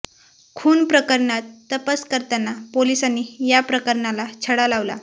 खून प्रकरणात तपास करताना पोलिसांनी या प्रकरणाचा छडा लावला